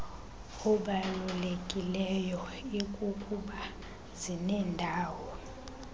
obalulekileyo ikukuba zinendawo